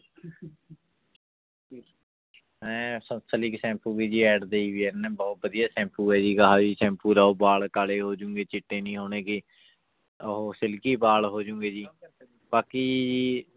ਹੈਂ Sunsilk shampoo ਵੀ ਜੀ ad ਦੇਈ ਹੋਈ ਹੈ ਇਹਨੇ ਬਹੁਤ ਵਧੀਆ ਸੈਂਪੂ ਹੈ ਜੀ ਸੈਂਪੂ ਲਾਓ ਵਾਲ ਕਾਲੇ ਹੋ ਜਾਣਗੇ ਚਿੱਟੇ ਨਹੀਂ ਹੋਣਗੇ ਉਹ silky ਵਾਲ ਹੋ ਜਾਣਗੇ ਜੀ ਬਾਕੀ ਜੀ